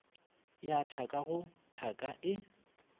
ya thaka go thaka e